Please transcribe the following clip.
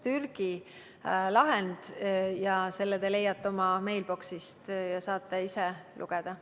Türgi, te leiate selle oma mailbox'ist ja saate ise lugeda.